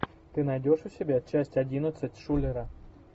ты найдешь у себя часть одиннадцать шулера